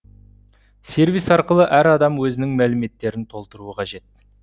сервис арқылы әр адам өзінің мәліметтерін толтыруы қажет